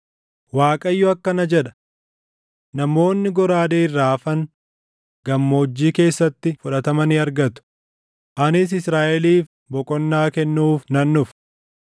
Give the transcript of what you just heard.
Waaqayyo akkana jedha: “Namoonni goraadee irraa hafan gammoojjii keessatti fudhatama ni argatu; anis Israaʼeliif boqonnaa kennuuf nan dhufa.”